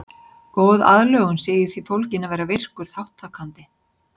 Góð aðlögun sé í því fólgin að vera virkur þátttakandi.